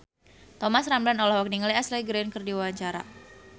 Thomas Ramdhan olohok ningali Ashley Greene keur diwawancara